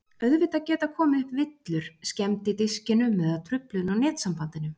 Auðvitað geta komið upp villur, skemmd í diskinum eða truflun á netsambandinu.